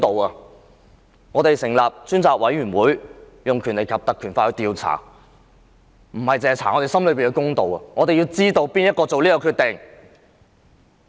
委任專責委員會，根據《條例》進行調查，不單是想查出我們心中的公道，而是要知道當天是誰下決定。